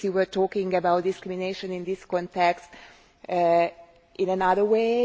because you were talking about discrimination in this context in another way.